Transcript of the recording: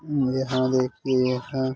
यहाँ देखिए यहाँ --